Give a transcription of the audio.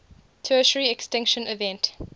tertiary extinction event